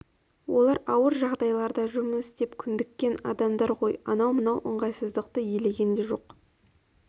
олар ауыр жағдайларда жұмыс істеп көндіккен адамдар ғой анау-мынау ыңғайсыздықты елеген де жоқ